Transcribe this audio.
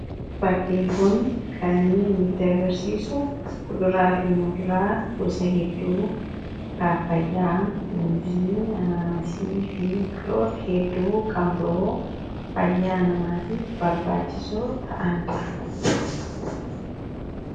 Fakkiin kun kan inni nuti agarsiisu kuduraa fi muduraa gosa hedduu paappayyaa, muuzii, anaanasii fi biqiloota hedduu kan biroo fayyaa namaatiif barbaachisu ta'andha.